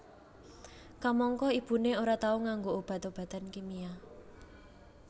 Kamangka ibuné ora tau nganggo obat obatan kimia